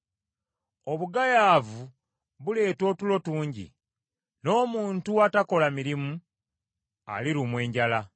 Obugayaavu buleeta otulo tungi, n’omuntu atakola mirimu alirumwa enjala.